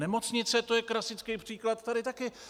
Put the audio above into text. Nemocnice, to je klasický příklad tady taky.